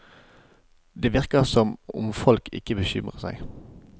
Det virker som om folk ikke bekymrer seg.